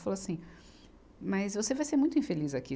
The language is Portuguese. Falou assim, mas você vai ser muito infeliz aqui.